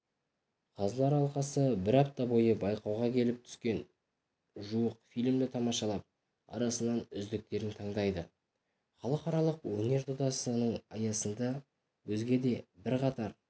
қазылар алқасы бір апта бойы байқауға келіп түскен жуық фильмді тамашалап арасынан үздіктерін таңдайды халықаралық өнер додасының аясында өзге де бірқатар